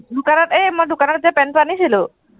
দোকানত, এৰ মই দোকানত যে পেন্টটো আনিছিলো,